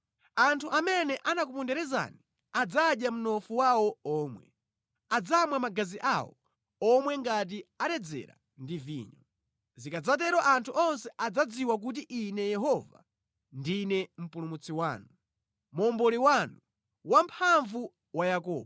Anthu amene anakuponderezani adzadya mnofu wawo omwe; adzamwa magazi awo omwe ngati aledzera ndi vinyo. Zikadzatero anthu onse adzadziwa kuti Ine Yehova, ndine Mpulumutsi wanu, Momboli wanu, Wamphamvu wa Yakobo.”